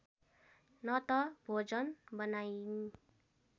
न त भोजन बनाइन्